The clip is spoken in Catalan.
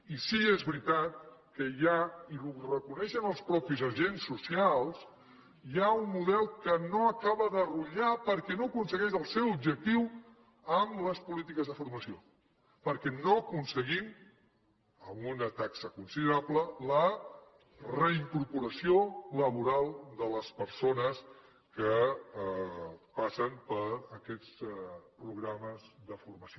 i sí és veritat que hi ha i ho reconeixen els mateixos agents socials un model que no acaba de rutllar perquè no aconsegueix el seu objectiu amb les polítiques de formació perquè no aconseguim amb una taxa considerable la reincorporació laboral de les persones que passen per aquests programes de formació